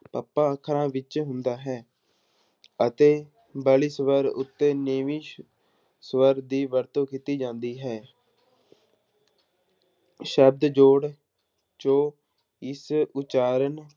ਪੱਪਾ ਅੱਖਰਾਂ ਵਿੱਚ ਹੁੰਦਾ ਹੈ ਅਤੇ ਸਵਰ ਉੱਤੇ ਨੀਵੀਂ ਸ~ ਸਵਰ ਦੀ ਵਰਤੋਂ ਕੀਤੀ ਜਾਂਦੀ ਹੈ ਸ਼ਬਦ ਜੋੜ ਜੋਂ ਇਸ ਉਚਾਰਨ